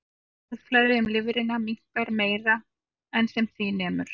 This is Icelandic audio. Blóðflæði um lifrina minnkar meira en sem því nemur.